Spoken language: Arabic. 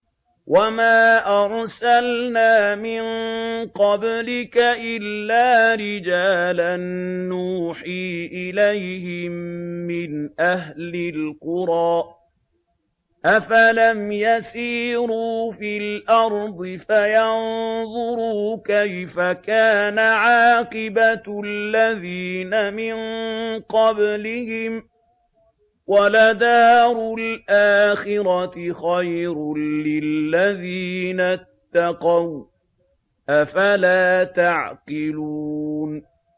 وَمَا أَرْسَلْنَا مِن قَبْلِكَ إِلَّا رِجَالًا نُّوحِي إِلَيْهِم مِّنْ أَهْلِ الْقُرَىٰ ۗ أَفَلَمْ يَسِيرُوا فِي الْأَرْضِ فَيَنظُرُوا كَيْفَ كَانَ عَاقِبَةُ الَّذِينَ مِن قَبْلِهِمْ ۗ وَلَدَارُ الْآخِرَةِ خَيْرٌ لِّلَّذِينَ اتَّقَوْا ۗ أَفَلَا تَعْقِلُونَ